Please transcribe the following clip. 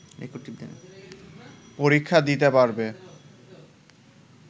পরীক্ষা দিতে পারবে